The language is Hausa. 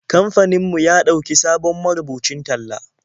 Kamfanin mu ya ɗauki sabon marubucin talla.